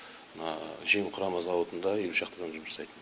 мына жем құрама зауытында елу шақты адам жұмыс жасайды